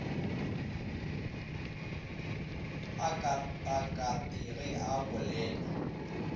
a katakate ge a bolela